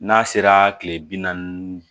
N'a sera kile bi naani